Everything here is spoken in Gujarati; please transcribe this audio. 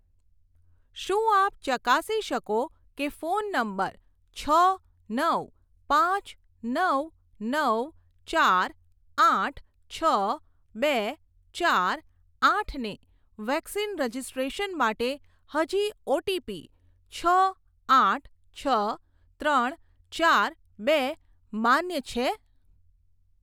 શું આપ ચકાસી શકો કે ફોન નંબર છ નવ પાંચ નવ નવ ચાર આઠ છ બે ચાર આઠને વેક્સિન રજિસ્ટ્રેશન માટે હજી ઓટીપી છ આઠ છ ત્રણ ચાર બે માન્ય છે?